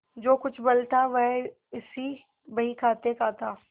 जो कुछ बल था वह इसी बहीखाते का था